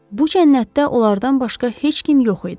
Bu cənnətdə onlardan başqa heç kim yox idi.